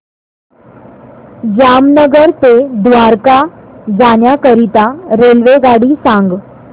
जामनगर ते द्वारका जाण्याकरीता रेल्वेगाडी सांग